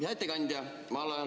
Hea ettekandja!